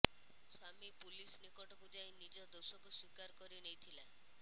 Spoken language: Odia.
ସ୍ୱାମୀ ପୁଲିସ ନିକଟକୁ ଯାଇ ନିଜ ଦୋଷକୁ ସ୍ୱୀକାର କରି ନେଇଥିଲା